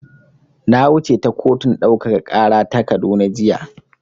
Na wuce ta kotun ɗaukaka ƙara ta Kaduna jiya.